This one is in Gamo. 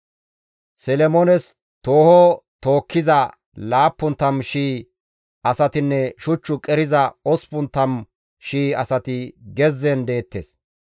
Solomoones tooho tookkiza 70,000 asatinne shuch qeriza 80,000 asati gezzen deettes.